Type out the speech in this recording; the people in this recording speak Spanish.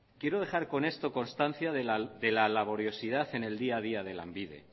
quiero dejar con esto constancia de la laboriosidad en el día a día de lanbide